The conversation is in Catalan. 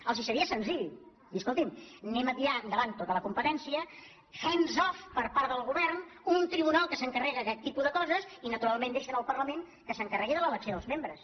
els seria senzill dir escoltin anem a tirar endavant tota la competència hands offun tribunal que s’encarrega d’aquest tipus de coses i naturalment deixen al parlament que s’encarregui de l’elecció dels membres